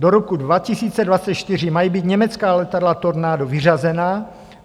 Do roku 2024 mají být německá letadla Tornado vyřazena.